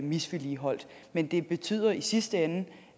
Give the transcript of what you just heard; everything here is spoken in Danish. misligholdt men det betyder i sidste ende